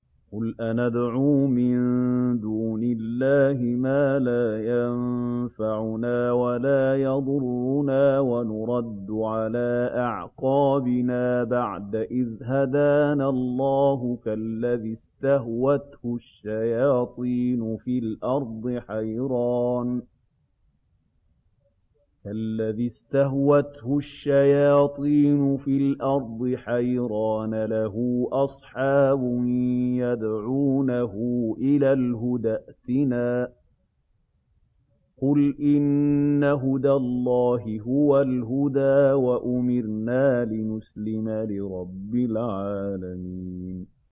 قُلْ أَنَدْعُو مِن دُونِ اللَّهِ مَا لَا يَنفَعُنَا وَلَا يَضُرُّنَا وَنُرَدُّ عَلَىٰ أَعْقَابِنَا بَعْدَ إِذْ هَدَانَا اللَّهُ كَالَّذِي اسْتَهْوَتْهُ الشَّيَاطِينُ فِي الْأَرْضِ حَيْرَانَ لَهُ أَصْحَابٌ يَدْعُونَهُ إِلَى الْهُدَى ائْتِنَا ۗ قُلْ إِنَّ هُدَى اللَّهِ هُوَ الْهُدَىٰ ۖ وَأُمِرْنَا لِنُسْلِمَ لِرَبِّ الْعَالَمِينَ